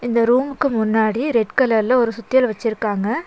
இந்த ரூமுக்கு முன்னாடி ரெட் கலர்ல ஒரு சுத்தியல் வச்சிருக்காங்க.